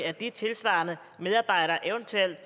at de tilsvarende medarbejdere eventuelt